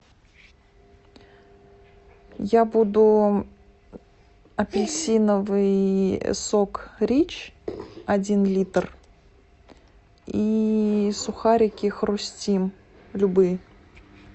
я буду апельсиновый сок рич один литр и сухарики хрустим любые